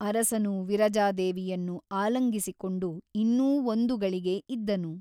ಅರಸನು ವಿರಜಾದೇವಿಯನ್ನು ಆಲಂಗಿಸಿಕೊಂಡು ಇನ್ನೂ ಒಂದುಗಳಿಗೆ ಇದ್ದನು.